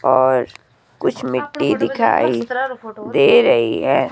और कुछ मिट्टी दिखाई दे रही है।